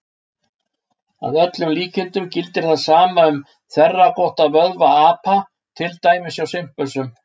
Að öllum líkindum gildir það sama um þverrákótta vöðva apa, til dæmis hjá simpönsum.